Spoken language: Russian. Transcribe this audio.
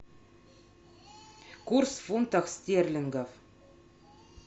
курс фунтов стерлингов